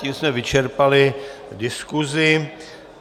Tím jsme vyčerpali diskusi.